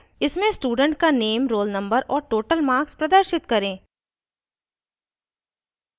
* इसमें student का name roll number और total marks प्रदर्शित करें